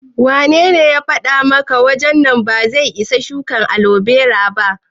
Wanene ya faɗa maka nan wajen ba zai isa a shuka alobera ba?